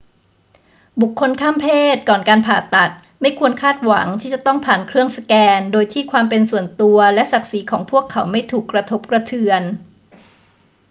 บุคคลข้ามเพศก่อนการผ่าตัดไม่ควรคาดหวังที่จะต้องผ่านเครื่องสแกนโดยที่ความเป็นส่วนตัวและศักดิ์ศรีของพวกเขาไม่ถูกกระทบกระเทือน